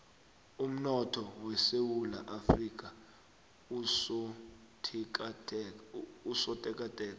umnotho wesewula afrika usotekateka